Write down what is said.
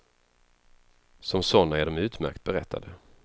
Som sådana är de utmärkt berättade.